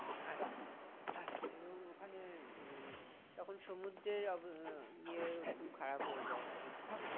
আচ্ছা আচ্ছা এবং ওখানে উম তখন সমুদ্রে ইয়ে খুব খারাপ হয়ে যায় অবস্থা